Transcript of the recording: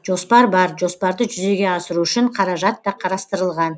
жоспар бар жоспарды жүзеге асыру үшін қаражат та қарастырылған